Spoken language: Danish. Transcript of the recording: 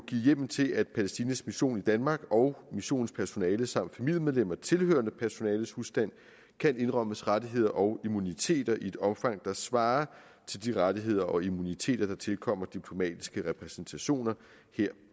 hjemmel til at palæstinas mission i danmark og missionens personale samt familiemedlemmer tilhørende personales husstand kan indrømmes rettigheder og immuniteter i et omfang der svarer til de rettigheder og immuniteter der tilkommer diplomatiske repræsentationer her